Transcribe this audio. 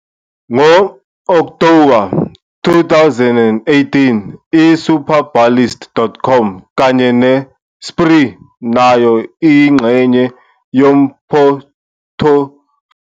Ngo-Okthoba 2018, i-Superbalist.com kanye ne-Spree, nayo eyingxenye yephothifoliyo.